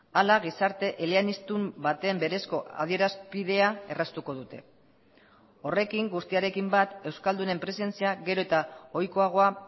hala gizarte eleaniztun baten berezko adierazpidea erraztuko dute horrekin guztiarekin bat euskaldunen presentzia gero eta ohikoagoa